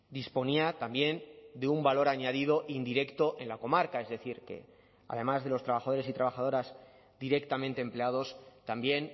disponía también de un valor añadido indirecto en la comarca es decir que además de los trabajadores y trabajadoras directamente empleados también